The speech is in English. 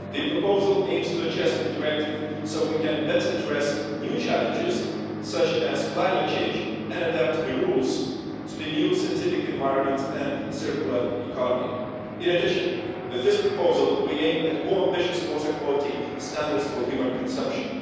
The proposal aims to adjust the Directive so we can better address new challenges such as climate change and adapt the rules to the new scientific environment and circular economy. In addition, with this proposal we aim at more ambitious water quality standards for human consumption.